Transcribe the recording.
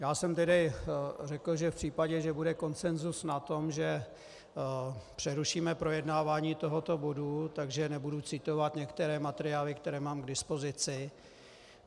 Já jsem tedy řekl, že v případě, že bude konsenzus na tom, že přerušíme projednávání tohoto bodu, že nebudu citovat některé materiály, které mám k dispozici.